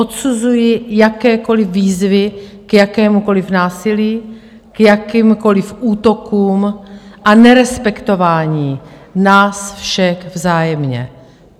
Odsuzuji jakékoliv výzvy k jakémukoliv násilí, k jakýmkoliv útokům a nerespektování nás všech vzájemně.